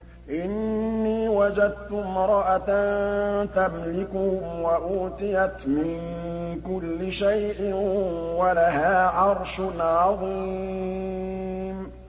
إِنِّي وَجَدتُّ امْرَأَةً تَمْلِكُهُمْ وَأُوتِيَتْ مِن كُلِّ شَيْءٍ وَلَهَا عَرْشٌ عَظِيمٌ